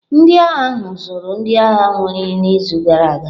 Ndị agha ahụ zụrụ ndị agha were n'izu gara aga.